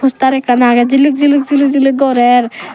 poster ekkan agey jilik jilik jilik jilik gorer.